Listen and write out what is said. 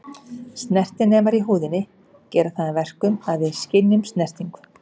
Snertinemar í húðinni gera það að verkum að við skynjum snertingu.